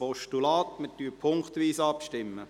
Wir stimmen punktweise ab.